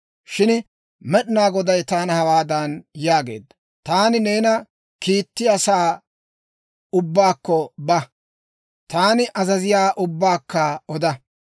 Shin Med'inaa Goday taana hawaadan yaageedda; « ‹Taani na'aa› gooppa. Taani neena kiittiyaa asaa ubbaakko ba. Taani azaziyaawaa ubbaakka oda.